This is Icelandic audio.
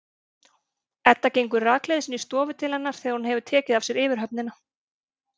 Edda gengur rakleiðis inn í stofu til hennar þegar hún hefur tekið af sér yfirhöfnina.